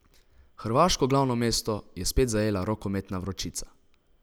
Hrvaško glavno mesto je spet zajela rokometna vročica.